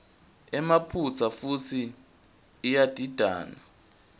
emaphutsa futsi iyadidana